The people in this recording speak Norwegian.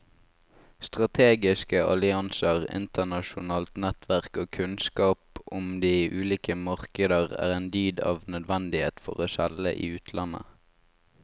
Strategiske allianser, internasjonalt nettverk og kunnskap om de ulike markeder er en dyd av nødvendighet for å selge i utlandet.